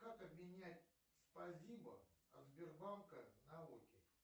как обменять спасибо от сбербанка на оки